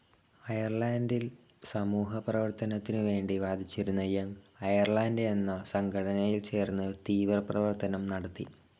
അയർലൻ്റിൽ സമൂല പരിവർത്തനത്തിനുവേണ്ടി വാദിച്ചിരുന്ന യങ്‌ അയർലാൻഡ് യെന്ന സംഘടനയിൽ ചേർന്ന് തീവ്രപ്രവർത്തനം നടത്തി.